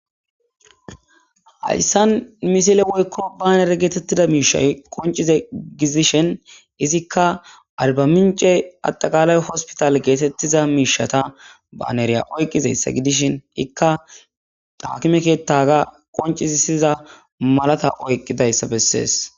hayssan misile woykko ba nere geetettida miishay qoncize gidishen izikka alba mince adaqaalay hospital geetettiza miishata baaneriya oyqqizayssa gidishin ikka daakimekettaga qoncizisiza malata oyqqidayssa bessees